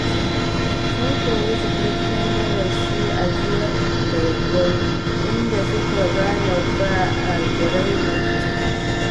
Sun koyi cikakken darasi a jiya da daddare, inda suka gane ba a raina mutum.